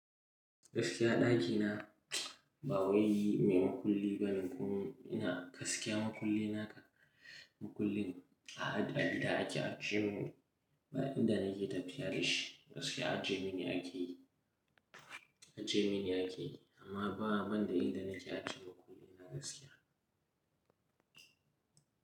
Gaskiya ɗaki na ba wai mai makulli bane kuma ina gaskiya makulli na ka makullin a gida ake ajiye min ba inda nake tafiya da shi. Gaskiya ajiye mini ake yi, ajiye mini ake yi amma ba banda inda na ke ajiye makulli na gaskiya.